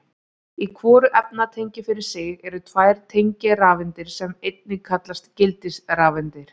Í hvoru efnatengi fyrir sig eru tvær tengirafeindir sem einnig kallast gildisrafeindir.